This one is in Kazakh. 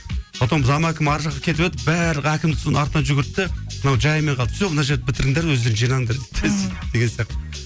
потом зам әкім ар жаққа кетіп еді бәрі әкімнің соның артынан жүгірді де мынау жайымен қалды все мына жерді бітіріңдер өздерің жинаңдар дейді де сөйтіп деген сияқты